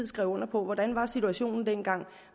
skrev under på hvordan var situationen dengang